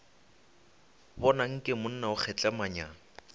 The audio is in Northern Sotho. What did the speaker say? bona nke monna o kgehlemanya